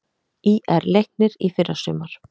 ÍR- Leiknir í fyrrasumar